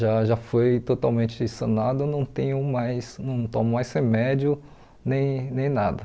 Já já foi totalmente sanado, não tenho mais não tomo mais remédio nem nem nada.